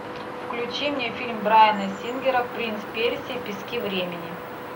включи мне фильм брайана сингера принц персии пески времени